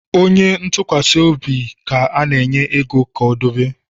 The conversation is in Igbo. Onye ntụkwasị obi ka a na-enye ego debe